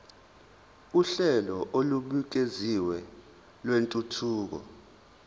uhlelo olubukeziwe lwentuthuko